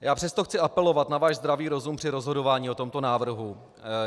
Já přesto chci apelovat na váš zdravý rozum při rozhodování o tomto návrhu.